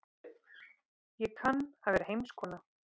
Ég kann að vera heimskona.